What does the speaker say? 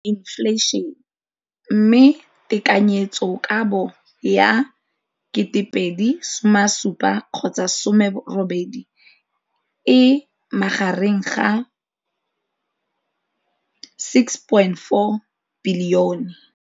Infleišene, mme tekanyetsokabo ya 2017-2018 e magareng ga R6.4 bilione.